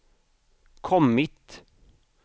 kommit